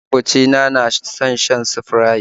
Maƙocina na son shan Sprite